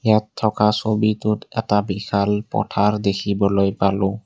ইয়াত থকা ছবিটোত এটা বিশাল পথাৰ দেখিবলৈ পালোঁ।